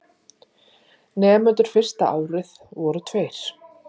Nemendur fyrsta árið voru tveir.